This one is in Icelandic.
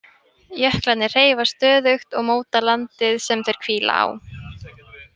Jöklarnir hreyfast stöðugt og móta landið sem þeir hvíla á.